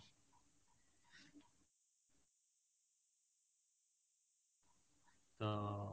ତ